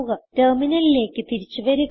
ടെർമിനലിലേക്ക് തിരിച്ചു വരുക